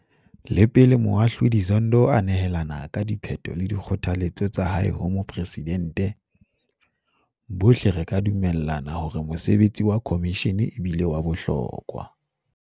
Le pele Moahlodi Zondo a nehelana ka diphetho le dikgothaletso tsa hae ho Moporesidente, bohle re ka dumellana hore mosebetsi wa khomishene e bile wa bohlokwa.